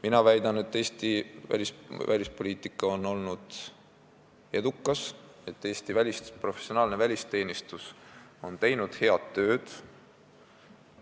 Mina väidan, et Eesti välispoliitika on olnud edukas, Eesti professionaalne välisteenistus on head tööd teinud.